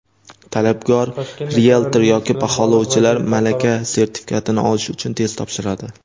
Talabgor rieltor yoki baholovchilar malaka sertifikatini olish uchun test topshiradi.